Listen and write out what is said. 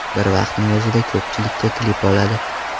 Bir vaqtning o‘zida ko‘pchillikka klip oladi.